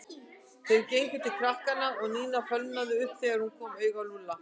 Þeir gengu til krakkanna og Nína fölnaði upp þegar hún kom auga á Lúlla.